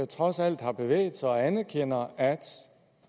trods alt har bevæget sig og anerkender at